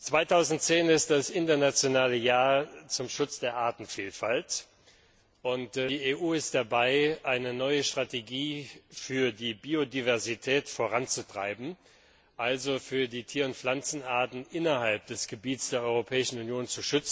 2010 ist das internationale Jahr der Artenvielfalt und die EU ist dabei, eine neue Strategie für die Biodiversität voranzutreiben, also für den Schutz der Tier und Pflanzenarten innerhalb des Gebietes der Europäischen Union.